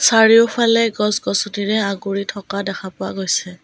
চাৰিওফালে গছ গছনিৰে আগুৰি থকা দেখা পোৱা গৈছে।